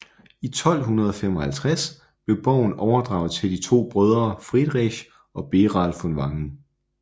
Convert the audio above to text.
I 1255 blev borgen overdraget til de to brødre Friedrich og Beral von Wangen